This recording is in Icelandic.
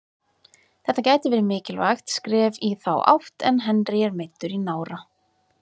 Þetta gæti verið mikilvægt skref í þá átt en Henry er meiddur í nára.